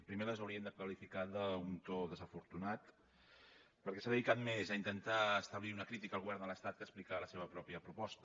primer les hauríem de qualificar d’un to desafortunat perquè s’ha dedicat més a intentar establir una crítica al govern de l’estat que a explicar la seva pròpia proposta